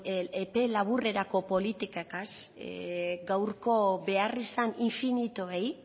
epe laburrerako politiketaz gaurko behar izan infinituei